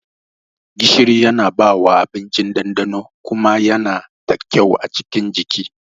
Gishiri Yana bawa abinci ɗanɗano kuma Yana da kyau a cikin jiki.